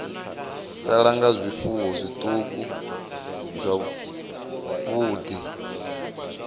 sala nga zwifuwo zwiṱuku zwavhuḓi